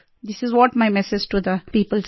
this is what my message to the people सिर